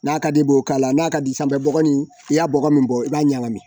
N'a ka di i b'o k'a la n'a ka di sanfɛ bɔgɔ in i y'a bɔgɔ min bɔ i b'a ɲagami